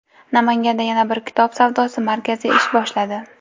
Namanganda yana bir kitob savdosi markazi ish boshladi.